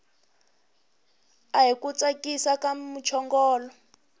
ahi ku tsakisa ka muchongolo